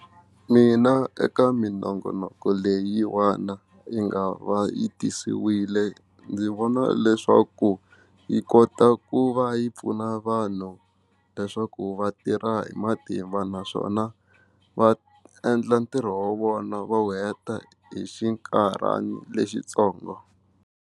Mina eka minongonoko leyiwana yi nga va yi tisiwile ndzi vona leswaku yi kota ku va yi pfuna vanhu leswaku vatirha hi matimba naswona va endla ntirho wa vona va wu heta hi xinkarhana lexi ntsongo.